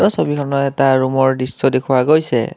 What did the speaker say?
ছবিখনৰ এটা ৰুমৰ দৃশ্য দেখুওৱা গৈছে।